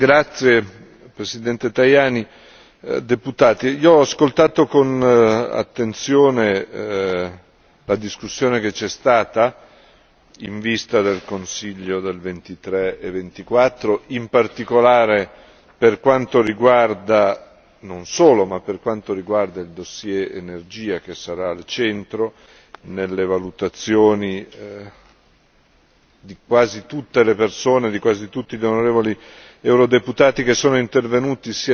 Signor Presidente, onorevoli deputati io ho ascoltato con attenzione la discussione che ci è stata in vista del Consiglio del 23 e 24, in particolare per quanto riguarda, non solo, ma per quanto riguarda il dossier energia che sarà al centro nelle valutazioni di quasi tutte le persone, di quasi tutti gli onorevoli eurodeputati che sono intervenuti.